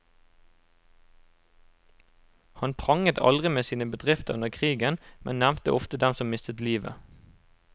Han pranget aldri med sine bedrifter under krigen, men nevnte ofte dem som mistet livet.